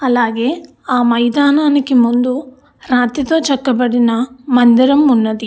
అలాగే ఆ మైదానానికి ముందు రాతితో చెక్కబడిన మందిరం ఉన్నది.